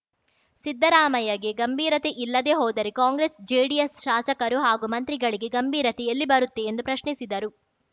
ಸಿದ್ದರಾಮಯ್ಯಗೆ ಗಂಭೀರತೆ ಇಲ್ಲದೇ ಹೋದರೆ ಕಾಂಗ್ರೆಸ್‌ ಜೆಡಿಎಸ್‌ ಶಾಸಕರು ಹಾಗೂ ಮಂತ್ರಿಗಳಿಗೆ ಗಂಭೀರತೆ ಎಲ್ಲಿ ಬರುತ್ತೆ ಎಂದು ಪ್ರಶ್ನಿಸಿದರು